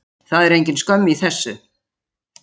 Það er engin skömm í þessu.